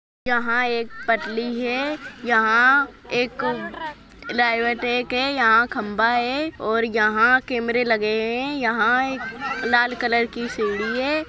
जहां एक पतली है यहां एक लायवे टॅक है यहां खंबा है और यहां कैमरे लगे हैं यहां एक लाल कलर की सीढ़ी है।